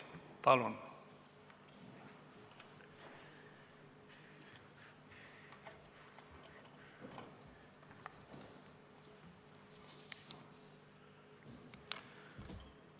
Palun!